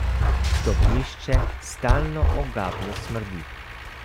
Stopnišče stalno ogabno smrdi.